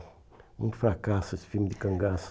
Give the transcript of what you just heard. Um fracasso esse filme de cangaço.